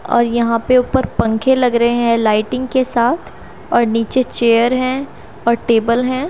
और यहां पे ऊपर पंखे लग रहे हैं लाइटिंग के साथ और नीचे चेयर हैं और टेबल हैं।